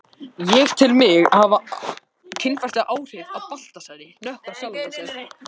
Nei þú hefur ekki sagt það.